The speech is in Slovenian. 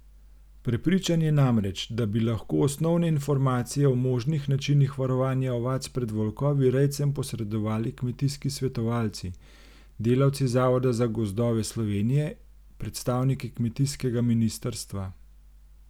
Prepričan je namreč, da bi lahko osnovne informacije o možnih načinih varovanja ovac pred volkovi rejcem posredovali kmetijski svetovalci, delavci Zavoda za gozdove Slovenije, predstavniki kmetijskega ministrstva.